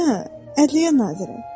Hə, ədliyyə naziri.